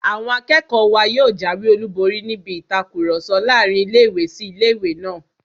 Àwọn akẹ́kọ̀ọ́ wa yóò jáwé olùborí níbi ìtakùrọ̀sọ láàrin ilé-ìwé sí ilé-ìwé náà